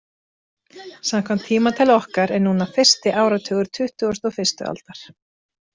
Samkvæmt tímatali okkar er núna fyrsti áratugur tuttugustu og fyrstu aldar.